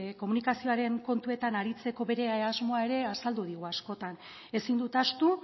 komunikazioaren kontuetan aritzeko bere asmoa ere azaldu digu askotan ezin dut ahaztu